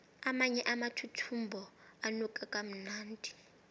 amanye amathuthumbo anuka kamnandi